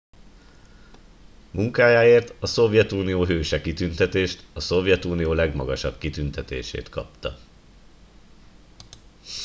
"munkájáért a "szovjetunió hőse" kitüntetést a szovjetunió legmagasabb kitüntetését kapta.